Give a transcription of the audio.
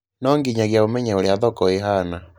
No nginyagia ũmenye ũria thoko ihana